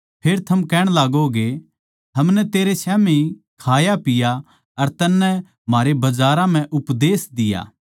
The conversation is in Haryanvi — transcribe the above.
फेर थम कहण लागोगे हमनै तेरे स्याम्ही खायापिया अर तन्नै म्हारे बजारां म्ह उपदेश दिया